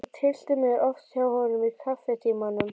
Ég tyllti mér oft hjá honum í kaffitímunum.